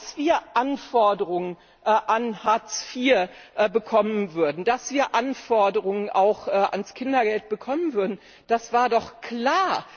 Dass wir Anforderungen an Hartz IV bekommen würden, dass wir Anforderungen auch ans Kindergeld bekommen würden, das war doch klar.